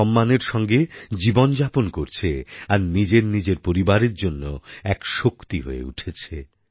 সম্মানের সঙ্গে জীবন যাপন করছে আর নিজেরনিজের পরিবারের জন্য এক শক্তি হয়ে উঠেছে